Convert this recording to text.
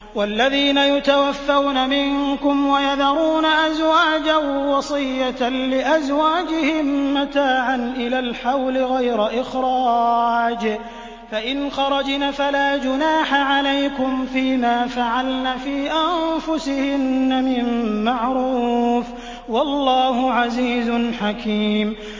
وَالَّذِينَ يُتَوَفَّوْنَ مِنكُمْ وَيَذَرُونَ أَزْوَاجًا وَصِيَّةً لِّأَزْوَاجِهِم مَّتَاعًا إِلَى الْحَوْلِ غَيْرَ إِخْرَاجٍ ۚ فَإِنْ خَرَجْنَ فَلَا جُنَاحَ عَلَيْكُمْ فِي مَا فَعَلْنَ فِي أَنفُسِهِنَّ مِن مَّعْرُوفٍ ۗ وَاللَّهُ عَزِيزٌ حَكِيمٌ